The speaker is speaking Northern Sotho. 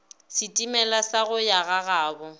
setimela sa go ya gagabo